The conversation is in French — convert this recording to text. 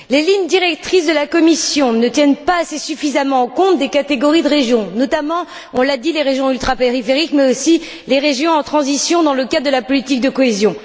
Les lignes directrices de la Commission ne tiennent pas suffisamment compte des catégories des régions, notamment, on l'a dit, des régions ultrapériphériques mais aussi des régions en transition dans le cadre de la politique de cohésion.